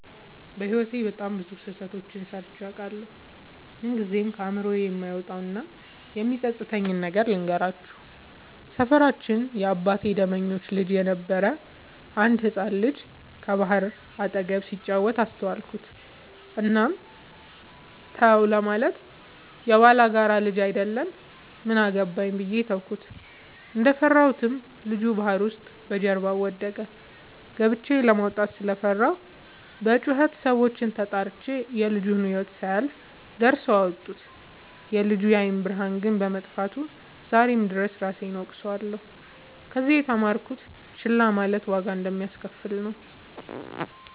በህይወቴ በጣም ብዙ ስህተቶችን ሰርቸ አውቃለሁ። ምንግዜም ከአይምሮዬ የማይወጣው እና የሚፀፅተኝን ነገር ልንገራችሁ። ሰፈራችን የአባቴ ደመኞች ልጅ የነበረ አንድ ህፃን ልጅ ከባህር አጠገብ ሲጫወት አስተዋልኩት። እናም ተው ለማለት የባላጋራ ልጅ አይደል ምን አገባኝ ብዬ ተውኩት። እንደፈራሁትም ልጁ ባህር ውስጥ በጀርባው ወደቀ። ገብቸ ለማውጣት ስለፈራሁ በጩኸት ሰዎችን ተጣርቸ የልጁ ህይወት ሳያልፍ ደርሰው አወጡት። የልጁ የአይን ብርሃን ግን በመጥፋቱ ዛሬም ድረስ እራሴን እወቅሳለሁ። ከዚህ የተማርኩት ችላ ማለት ዋጋ እንደሚያሰከፍል ነው።